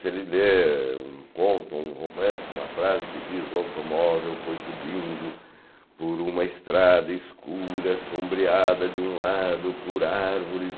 Se ele lê um conto, o um romance, uma frase que diz... O automóvel foi subindo por uma estrada escura, sombreada de um lado, por árvores